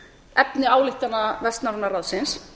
efni ályktana vestnorræna ráðsins